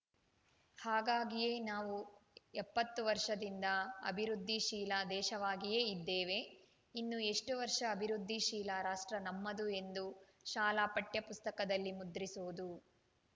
ಹಾಗಾಗಿಯೇ ನಾವು ಎಪ್ಪತ್ತು ವರ್ಷದಿಂದ ಅಭಿವೃದ್ಧಿಶೀಲ ದೇಶವಾಗಿಯೇ ಇದ್ದೇವೆ ಇನ್ನೂ ಎಷ್ಟುವರ್ಷ ಅಭಿವೃದ್ಧಿ ಶೀಲ ರಾಷ್ಟ್ರ ನಮ್ಮದು ಎಂದು ಶಾಲಾ ಪಠ್ಯಪುಸ್ತಕದಲ್ಲಿ ಮುದ್ರಿಸುವುದು